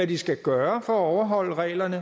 de skal gøre for at overholde reglerne